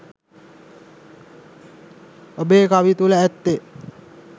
ඔබේ කවි තුළ ඇත්තේ